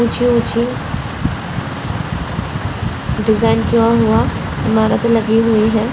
ऊँची-ऊँची design किया हुआ ईमारत लगी हुई हैं।